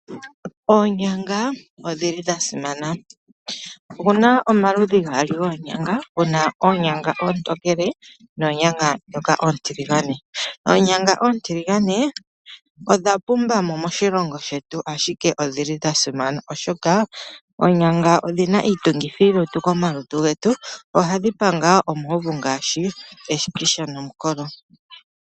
Onyanga oshikwamboga shasimana, oshi li pamaludhi gaali dhimwe oontiligane dhimwe oontokele. Oonyanga oontiligane odha pumba mo moshilongo shetu. Onyanga oyina uundjolowele molutu, oshoka ohayi panga eshikisha osho wo omukolo.